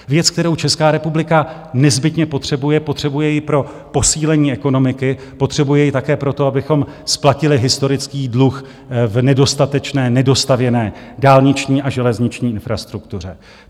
Věc, kterou Česká republika nezbytně potřebuje, potřebuje ji pro posílení ekonomiky, potřebuje ji také proto, abychom splatili historický dluh v nedostatečné, nedostavěné dálniční a železniční infrastruktuře.